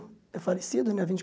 É falecido, né? Vinte